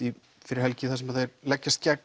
fyrir helgi þar sem þeir leggjast gegn